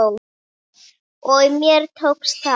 Og mér tókst það.